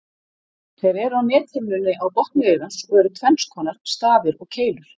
Þeir eru á nethimnunni á botni augans og eru tvenns konar, stafir og keilur.